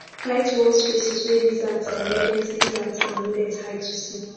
tight wall spaces wey lizards and rodent lizards and rodent hide to see